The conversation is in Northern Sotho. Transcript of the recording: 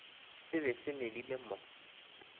se be se medile mo